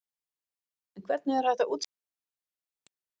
En hvernig er hægt að útskýra það?